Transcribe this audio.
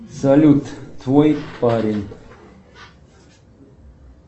салют твой парень